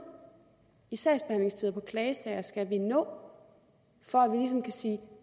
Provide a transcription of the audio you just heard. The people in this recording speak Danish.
i sagsbehandlingstider på klagesager skal vi nå for at vi ligesom kan sige